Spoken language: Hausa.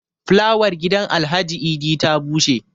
flawar gidan Alhaji Idi ta bushe